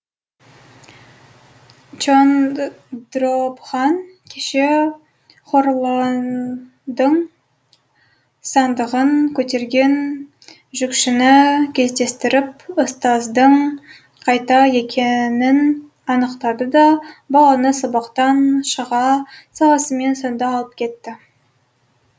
чондробхан кеше хорлалдың сандығын көтерген жүкшіні кездестіріп ұстаздың қайда екенін анықтады да баланы сабақтан шыға салысымен сонда алып кетті